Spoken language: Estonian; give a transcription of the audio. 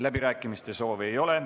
Läbirääkimiste soovi ei ole.